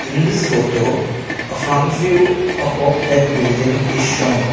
in this photo a front view of a big building is shown.